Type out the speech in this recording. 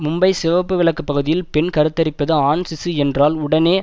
மும்பை சிவப்பு விளக்கு பகுதியில் பெண் கருத்தரிப்பது ஆண் சிசு என்றால் உடனே